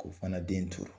K'o fana den to